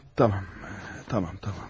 Tamam, tamam, tamam.